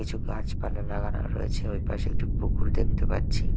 কিছু গাছপালা লাগানো রয়েছে ওই পাশে একটি পুকুর দেখতে পাচ্ছি।